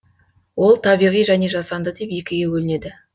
ол табиғи және жасанды деп екіге бөлінеді